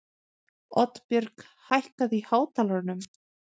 Oddbjörg, hækkaðu í hátalaranum.